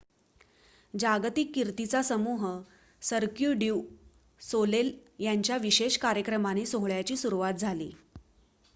जागतिक कीर्तीचा समूह सर्क्यु ड्यू सोलेल यांच्या विशेष कार्यक्रमाने सोहळ्याची सुरवात झाली